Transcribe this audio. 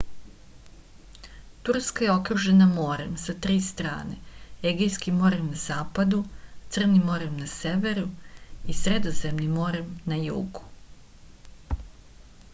turska je okružena morem sa tri strane egejskim morem na zapadu crnim morem na severu i sredozemnim morem na jugu